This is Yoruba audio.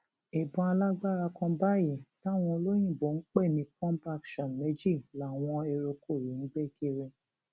ìbọn alágbára kan báyìí táwọn olóyinbo ń pè ní pump action méjì làwọn eruùkù yìí ń gbé kiri